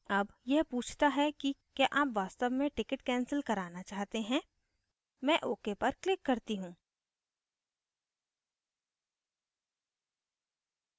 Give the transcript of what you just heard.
are यह पूछता है कि क्या आप वास्तव में ticket cancel करना चाहते हैं मैं ok पर क्लिक करती हूँ